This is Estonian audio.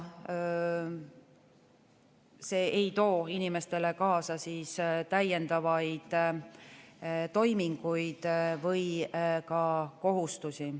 See ei too inimestele kaasa täiendavaid toiminguid ega ka kohustusi.